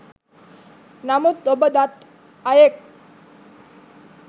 නමුත් ඔබ දත් අයෙක්